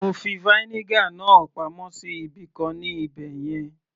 mo fi vinegar náà pamọ́ sí ibìkan ní ibẹ̀yẹn